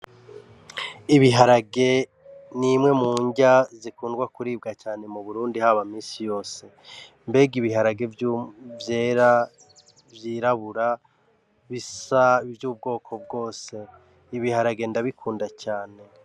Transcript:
Ibiharage ni imwe mu nrya zikunda kuribwa cane mu Burundi haba m'ubuzima bwa misi yose mbega ibiharage vyera, vyirabura bisa vy' ubwoko bwose ibiharage ndabikunda cane.